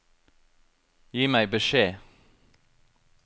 Gi meg beskjed